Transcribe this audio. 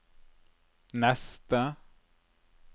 neste